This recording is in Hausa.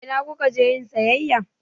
A ina ku ka je yin sayayya?